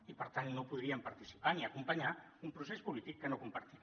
i per tant no podríem participar ni acompanyar un procés polític que no compartim